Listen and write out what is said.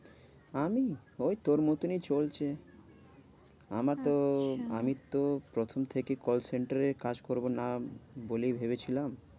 আমি? ওই তোর মতনই চলছে। আমার তো আচ্ছা আমি তো প্রথম থেকেই কল center এ কাজ করবো না বলেই ভেবেছিলাম।